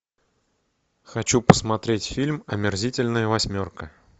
хочу посмотреть фильм омерзительная восьмерка